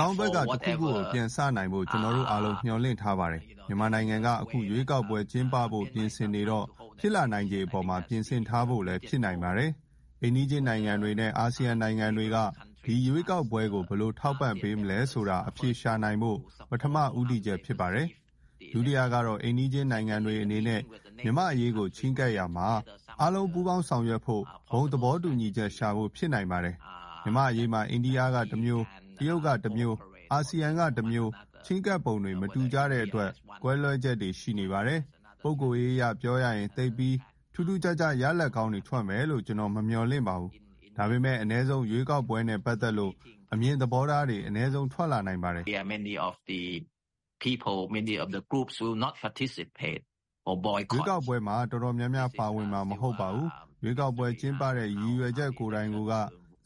ကောင်းဘက်က တခုခုကို ပြန်စနိုင်ဖို့ ကျနော်တို့ အားလုံး မျှော်လင့်ထားပါတယ်။ မြန်မာနိုင်ငံက အခု ရွေးကောက်ပွဲကျင်းပဖို့ပြင်ဆင်နေတော့ ဖြစ်လာနိုင်ခြေအပေါ်မှာ ပြင်ဆင်ထားဖို့လည်း ဖြစ်နိုင်ပါတယ်။ အိမ်နီးချင်းနိုင်ငံတွေနဲ့ အာဆီယံနိုင်ငံတွေက ဒီရွေးကောက်ပွဲကို ဘယ်လို ထောက်ပံ့ပေးမလဲဆိုတာ အဖြေရှာဖို့ ပထမ ဉီးတည်ချက် ဖြစ်ပါတယ်။...ဒုတိယကတော့ အိမ်နီးချင်းနိုင်ငံတွေအနေနဲ့ မြန်မာ့အရေးကို ချဉ်းကပ်ရာမှာ အားလုံး ပူးပေါင်းဆောင်ရွက်ဖို့ ဘုံသဘောတူညီချက် ရှာဖို့ ဖြစ်နိုင်ပါတယ်။ မြန်မာ့အရေးမှာ အိန္ဒိယကတမျိုး၊ တရုတ်ကတမျိုး၊ အာဆီယံက တမျိုး ချဉ်းကပ်ပုံတွေ မတူကြတဲ့အတွက် ကွဲလွဲချက်တွေ ရှိနေပါတယ်။ ပုဂ္ဂိုလ်ရေးအရ ပြောရရင် သိပ်ပြီး ထူးထူးခြားခြား ရလဒ်ကောင်းတွေ ထွက်မယ်လို့ ကျနော် မမျှော်လင့်ပါဘူး။ ဒါပေမဲ့ အနည်းဆုံး ရွေးကောက်ပွဲနဲ့ ပတ်သက်လို့ အမြင်သဘောထားတွေတော့ အနည်းဆုံး ထွက်လာနိုင်ပါတယ်။...ရွေးကောက်ပွဲမှာ တော်တော်များများပါဝင်မှာ မဟုတ်ပါဘူး။ ရွေးကောက်ပွဲ ကျင်းပတဲ့ ရည်ရွယ်ချက်ကိုက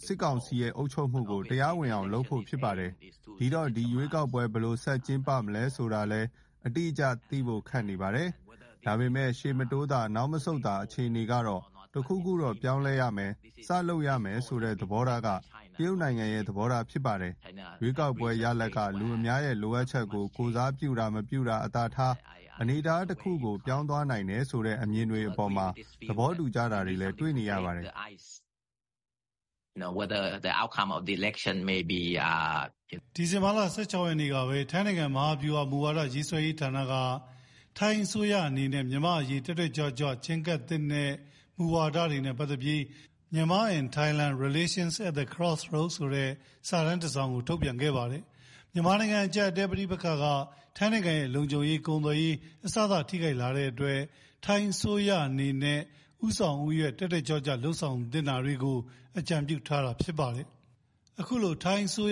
စစ်ကောင်စီရဲ့ အုပ်ချုပ်မှုကို တရားဝင်အောင်လုပ်ဖို့ ဖြစ်ပါတယ်။ ဒီတော့ ဒီရွေးကောက်ပွဲ ဘယ်လို ဆက် ကျင်းပ မလဲဆိုတာလည်း အတိအကျ သိဖို့ ခက်နေပါတယ်။ ဒါပေမဲ့ ရှေ့မတိုးသာ နောက်မဆုတ်သာ အခြေအနေကနေ တခုခုတော့ ပြောင်းလဲရမယ်။ စလုပ်ရမယ်ဆိုတဲ့ သဘောထားက တရုတ်နိုင်ငံရဲ့ သဘောထား ဖြစ်ပါတယ်။ ရွေးကောက်ပွဲရလဒ်က လူအများရဲ့ လိုအပ်ချက်ကို ကိုယ်စားပြုတာ မပြုတာထား အနေအထားတခုကို ပြောင်းသွားနိုင်တယ်ဆိုတဲ့ အမြင်တွေအပေါ်မှာ သဘောတူကြတာတွေလည်း တွေ့နေရပါတယ်။...ဒီဇင်ဘာလ ၁၆ ရက်နေ့ကပဲ ထိုင်းနိုင်ငံ မဟာဗျူဟာ မူဝါဒရေးဆွဲရေးဌာနက ထိုင်းအစိုးရအနေနဲ့ မြန်မာ့အရေး တက်တက်ကြွကြွချဉ်းကပ်သင့်တဲ့မူဝဒါတွေနဲ့ပတ်သက်လို့ ထိုင်း-မြန်မာ ဆက်ဆံရေး အပြောင်းအလဲ လမ်းဆုံလမ်းခွတွေကိုရောက်နေတဲ့ အခြေအနေဆိုပြီး Myanmar and Thailand Relations at the Crossroads ဆိုတဲ့ စာတမ်းတစောင် ထုတ်ပြန်ခဲ့ပါတယ်။...မြန်မာနိုင်ငံအကြပ်အတည်းနဲ့ပဋိပက္ခက ထိုင်းရဲ့ လုံခြုံရေး၊ ကုန်သွယ်ရေး အစစ ထိခိုက်လာတဲ့အတွက် ထိုင်းအစိုးရ ဦးဆောင်ဦးရွက် တက်တက်ကြွကြွ လုပ်ဆောင်သင့်တာတွေကို အကြံပြုထားတာ ဖြစ်ပါတယ်။....ပထမ လုပ်ဆောင်သင့်တယ်ဆိုပြီး ထိုင်းအစိုး